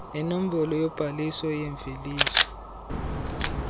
nenombolo yobhaliso yemveliso